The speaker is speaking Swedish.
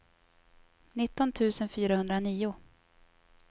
nitton tusen fyrahundranio